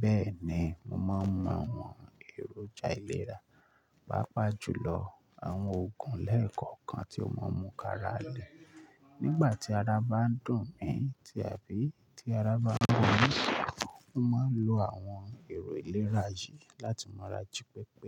Bẹ́ẹ̀ ni, mo máa ń mu àwọn èròjà ìlera, pàápàá jùlọ àwọn òògùn lẹ́ẹ̀kọ̀kan tí ó máa ń mú káralẹ̀ nígbà tí ara bá ń dùn mí tí àbí tí ara bá ń ro mi. Mo máa ń lo àwọn èrò ìlera yìí láti ma raji pẹpẹ.